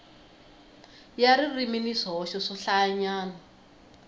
ya ririmi ni swihoxo swohlayanyana